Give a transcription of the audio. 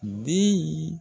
Den y'i